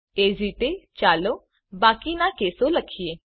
એ જ રીતે ચાલો બાકીના કેસો લખીએ